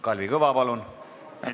Kalvi Kõva, palun!